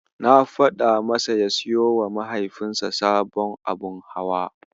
Na faɗa masa ya siyowa Mahaifinsa sabon abun hawa.